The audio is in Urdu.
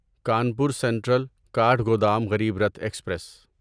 Kanpur central Kathgodam Garib Rath express